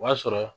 O y'a sɔrɔ